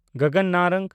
ᱜᱚᱜᱚᱱ ᱱᱟᱨᱟᱝ